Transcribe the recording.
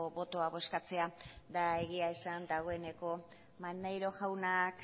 botoa bozkatzea eta egia esan dagoeneko maneiro jaunak